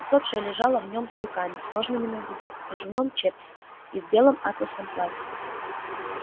усопшая лежала в нём с руками сложенными на груди в кружевном чепце и в белом атласном платье